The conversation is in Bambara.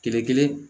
Kile kelen